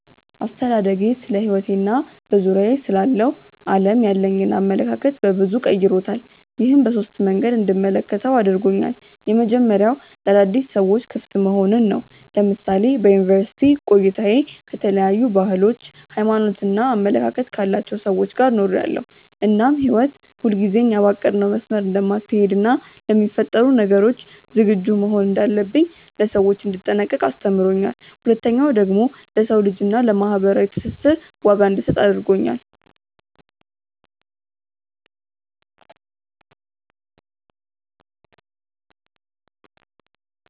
አስተዳደጌ ስለሕይወቴ እና በዙሪያዬ ስላለው ዓለም ያለኝን አመለካከት በበዙ ቀይሮታል። ይህም በሶስት መንገዶች እንድመለከተው አድርጎኛል። የመጀመሪያው ለአዳዲስ ነገሮች ክፍት መሆንን ነው። ለምሳሌ በዩኒቨርስቲ ቆይታዬ ከተለያዩ ባህሎች፣ ሃይማኖት እና አመለካከት ካላቸው ጋር ኖሬያለው እናም ህይወት ሁልጊዜ እኛ ባቀድነው መስመር እንደማትሀለድ እና ለሚፈጠሩ ነገሮች ዝግጁ መሆን እንዳለብኝ፣ ለሰዎች እንድጠነቀቅ አስተምሮኛል። ሁለተኛው ደግሞ ለሰው ልጅ እና ለማህበራዊ ትስስር ዋጋ እንድሰጥ አድርጎኛል።